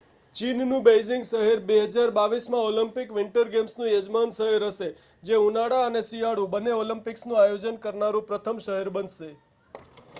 ચીનનું Beijing શહેર 2022 માં Olympic winter ગેમ્સનું યજમાન શહેર હશે જે ઉનાળા અને શિયાળુ બંને ઓલિમ્પિક્સનું આયોજન કરનારું પ્રથમ શહેર બનશે